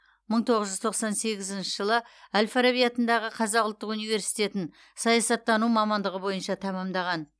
мың тоғыз жүз тоқсан сегізінші жылы әл фараби атындағы қазақ ұлттық университетің саясаттану мамандығы бойынша тәмамдаған